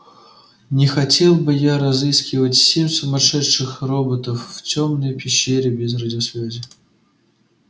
не хотел бы я разыскивать семь сумасшедших роботов в тёмной пещере без радиосвязи